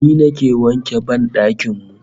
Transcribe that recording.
Ni nake wanke ban dakin mu